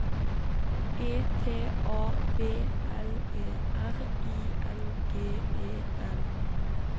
E T A B L E R I N G E N